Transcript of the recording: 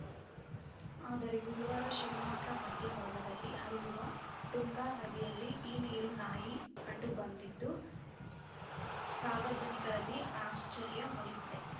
ಆದರೆ ಗುರುವಾರ ಶಿವಮೊಗ್ಗ ಮಧ್ಯ ಭಾಗದಲ್ಲಿ ಹರಿಯುವ ತುಂಗಾ ನದಿಯಲ್ಲಿ ಈ ನೀರು ನಾಯಿ ಕಂಡು ಬಂದಿದ್ದು ಸಾರ್ವಜನಕರಲ್ಲಿ ಆಶ್ಚರ್ಯ ಮೂಡಿಸಿದೆ